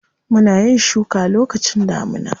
Muna yin shuka lokacin damuna.